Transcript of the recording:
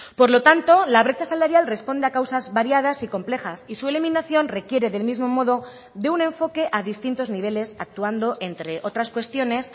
por lo tanto la brecha salarial responde a causas variadas y complejas y su eliminación requiere del mismo modo de un enfoque a distintos niveles actuando entre otras cuestiones